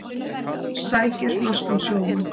Sækir norskan sjómann